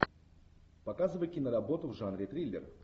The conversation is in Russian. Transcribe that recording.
показывай киноработу в жанре триллер